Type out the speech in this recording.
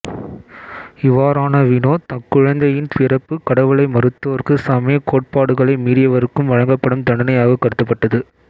இவாறான வினோதக்குழந்தையின் பிறப்பு கடவுளை மறுத்தோருக்கும் சமய கோட்பாடுகளை மீறியவருக்கும் வழங்கப்படும் தண்டனையாக கருதப்பட்டது